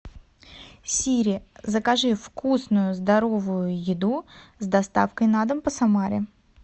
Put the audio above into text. сири закажи вкусную здоровую еду с доставкой на дом по самаре